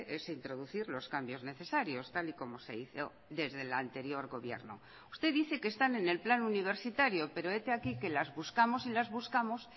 es introducir los cambios necesarios tal y como se hizo desde el anterior gobierno usted dice que están en el plan universitario pero hete aquí que las buscamos y las buscamos